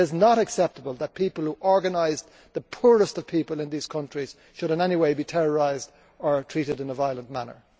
It is not acceptable that people who organise the poorest of people in these countries should in any way be terrorised or treated in a violent manner.